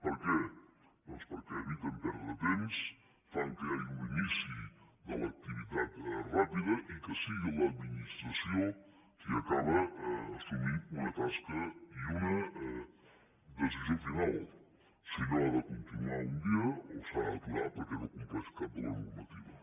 per què doncs perquè eviten perdre temps fan que hi hagi un inici de l’activitat ràpida i que sigui l’administració qui acaba assumint una tasca i una decisió final si allò ha de continuar un dia o s’ha d’aturar perquè no compleix cap de les normatives